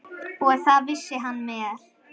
Og það vissi hann vel.